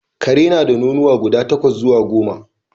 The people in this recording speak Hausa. Ƙare na da nonuwa guda takwas zuwa goma